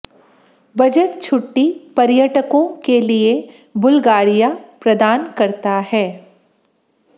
budget छुट्टी पर्यटकों के लिए बुल्गारिया प्रदान करता है